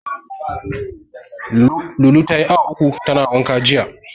Lulu tayi awa uku tana wanka jiya.